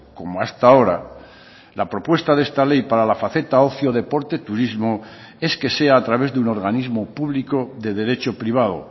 como hasta ahora la propuesta de esta ley para la faceta ocio deporte turismo es que sea a través de un organismo público de derecho privado